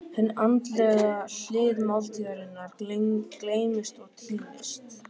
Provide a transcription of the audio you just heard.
Hin andlega hlið máltíðarinnar gleymist og týnist.